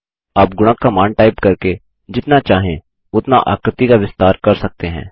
आप गुणक का मान टाइप करके जितना चाहें उतना आकृति का विस्तार कर सकते हैं